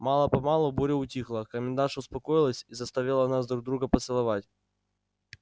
мало-помалу буря утихла а комендантша успокоилась и заставила нас друг друга поцеловать